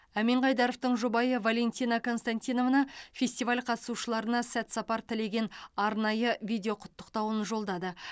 әмен қайдаровтың жұбайы валентина константиновна фестиваль қатысушыларына сәт сапар тілеген арнайы видеоқұттықтауын жолдады